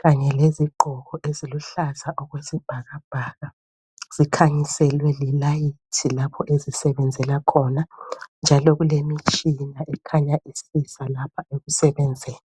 kanye lezigqoko eziluhlaza okwesibhakabhaka zikhanyiselwe lilayithi lapho ezisebenzela khona njalo kulemitshina ekhanya isiza lapha ekusebenzeni.